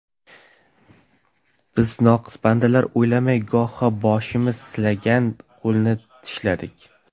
Biz noqis bandalar, o‘ylamay goho, Boshimiz silagan qo‘lni tishladik.